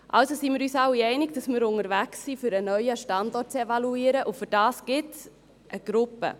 Also sind wir uns alle einig, dass wir unterwegs sind, um einen neuen Standort zu evaluieren, und dafür gibt es eine Gruppe.